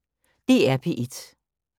DR P1